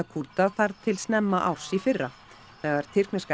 Kúrda þar til snemma árs í fyrra þegar